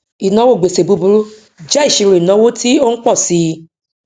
ìnáwó gbèsè búburú jẹ ìṣirò ìnáwó tí ó ń pọ sí i